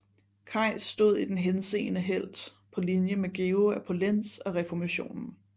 Queis stod i den henseende helt på linje med Georg af Polentz og reformationen